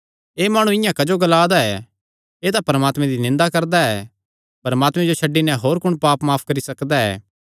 एह़ माणु इआं क्जो ग्लांदा ऐ एह़ तां परमात्मे दी निंदा करदा ऐ परमात्मे जो छड्डी नैं होर कुण पाप माफ करी सकदा ऐ